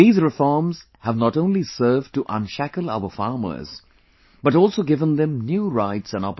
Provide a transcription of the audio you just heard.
These reforms have not only served to unshackle our farmers but also given them new rights and opportunities